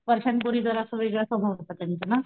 वर्षांपूर्वी जरासा वेगळा स्वभाव होता त्यांचा ना?